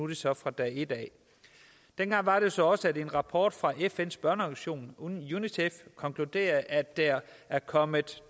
det så fra dag et dengang var det så også at en rapport fra fns børneorganisation unicef konkluderede at der var kommet